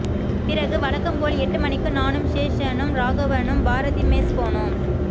பிறகு வழக்கம் போல் எட்டு மணிக்கு நானும் சேஷனும் ராகவனும் பாரதி மெஸ் போனோம்